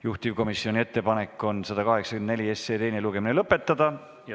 Juhtivkomisjoni ettepanek on 184 teine lugemine lõpetada.